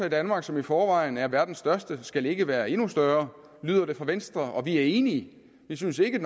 i danmark som i forvejen er verdens største skal ikke være endnu større lyder det fra venstre og vi er enige vi synes ikke